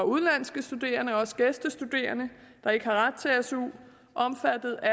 udenlandske studerende og gæstestuderende der ikke har ret til su omfattet af